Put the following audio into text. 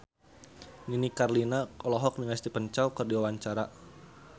Nini Carlina olohok ningali Stephen Chow keur diwawancara